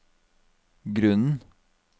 grunnen